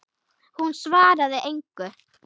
Hún svaraði engu.